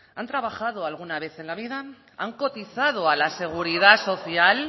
han trabajado alguna vez en la vida han cotizado a la seguridad social